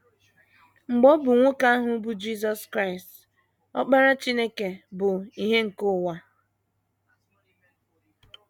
Mgbe ọ bụ nwoke ahụ bụ́ Jisọs Kraịst, Ọkpara Chineke bụ “ ìhè nke ụwa. ”